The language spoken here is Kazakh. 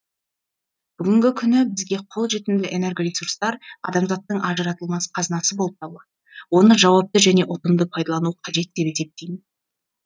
бүгінгі күні бізге қол жетімді энергоресурстар адамзаттың ажыратылмас қазынасы болып табылады оны жауапты және ұтымды пайдалану қажет деп есептеймін